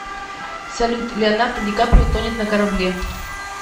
салют леонардо ди каприо тонет на корабле